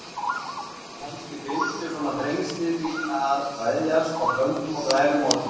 Kannski fylgdu svona þrengsli því að kveðjast á köldum og glærum morgni.